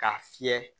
K'a fiyɛ